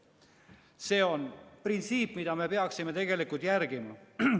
" See on printsiip, mida me peaksime tegelikult järgima.